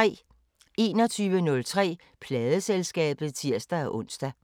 21:03: Pladeselskabet (tir-ons)